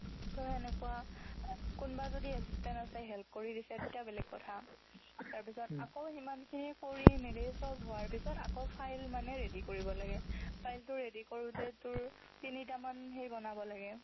ত' হেনেকুৱা কোনোবা যদি assistance আছে help কৰি দিছে তেতিয়াও বেলেগ কথা তাৰপিছত আকৌ সিমানখিনি কৰি মেলি সব হোৱাৰ পিছত আকৌ file মানে ready কৰিব লাগে file টো কৰোঁতে তোৰ তিনিটামান হেৰি বনাব লাগে